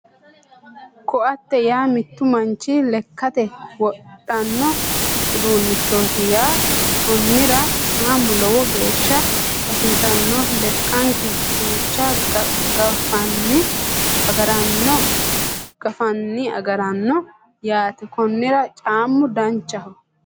Ko'atte yaa mittu manchi lekkate wodhanno uduunnichooti yaate konnira caamu lowo geeshsha hasiissano lekanke duucha gaffanni agaranno yaate konnira caamu danchaho